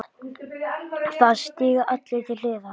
Það stíga allir til hliðar.